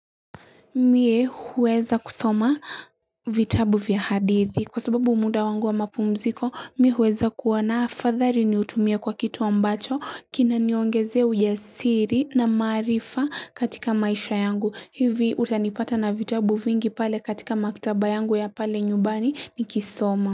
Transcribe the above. Mie huweza kusoma vitabu vya hadithi kwa sababu muda wangu wa mapumziko mi huweza kuwana afathali niutumie kwa kitu ambacho kinaniongezea ujasiri na maarifa katika maisha yangu hivi utanipata na vitabu vingi pale katika maktaba yangu ya pale nyubani nikisoma.